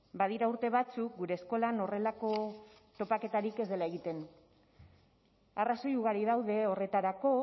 badira urte batzuk gure eskolan horrelako topaketarik ez dela egiten arrazoi ugari daude horretarako